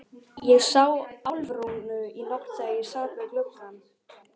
Ég sá Álfrúnu í nótt þegar ég sat við gluggann.